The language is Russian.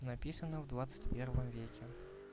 написано в двадцать первом веке